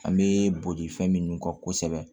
An bɛ boli fɛn minnu kɔ kosɛbɛ